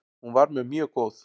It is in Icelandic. Hún var mér mjög góð.